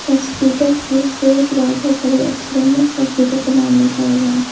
Hospital की creche wall पे बड़े अक्षरों में हॉस्पिटल का नाम लिखा हुआ है।